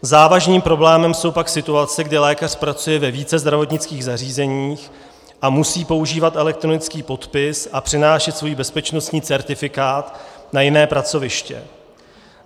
Závažným problémem jsou pak situace, kdy lékař pracuje ve více zdravotnických zařízení a musí používat elektronický podpis a přenášet svůj bezpečnostní certifikát na jiné pracoviště.